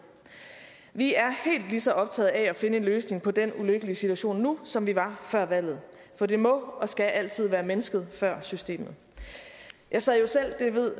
vi er ligeså optaget af at finde en løsning på den ulykkelige situation nu som vi var før valget for det må og skal altid være mennesket før systemet jeg sad jo selv og det ved